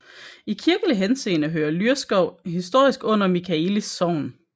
I kirkelig henseende hører Lyrskov historisk under Michaelis Sogn